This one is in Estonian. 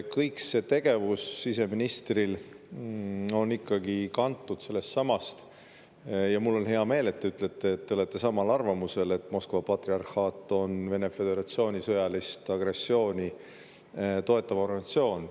Kõik see siseministri tegevus on ikkagi kantud sellest samast – mul on hea meel, et te olete samal arvamusel –, et Moskva patriarhaat on Vene föderatsiooni sõjalist agressiooni toetav organisatsioon.